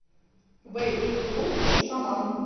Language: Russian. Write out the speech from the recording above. вэйп клуб шаман